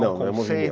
Não, movimento.